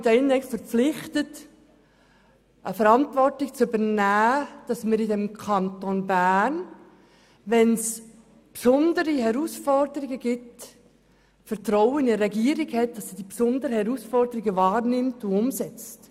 Ich habe mich hier verpflichtet, die Verantwortung zu übernehmen, dass wir bei besonderen Herausforderungen in unserem Kanton, das Vertrauen in die Regierung haben, dass sie diese besonderen Herausforderungen wahrnimmt und umsetzt.